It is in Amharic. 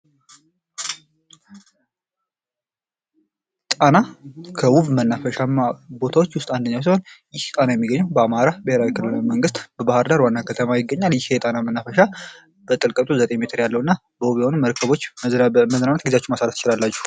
ጣና ከውብ መናፈሻማ ቦታዎች ውስጥ አንደኛው ሲሆን፤ ይህ ጣና የሚገኘው በአማራ ብሔራዊ ክልላዊ መንግሥት በባህር ዳር ዋና ከተማ ይገኛል። ይህ የጣና መናፈሻ በጥልቀቱ 9 ሜትር ያለውና በውብ የሆኑ መርከቦች በመዝናናት ጊዜያችሁን ማሳለፍ ትችላላችሁ።